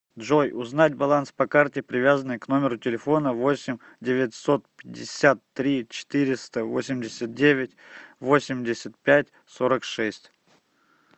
джой узнать баланс по карте привязанной к номеру телефона восемь девятьсот пятьдесят три четыреста восемьдесят девять восемьдесят пять сорок шесть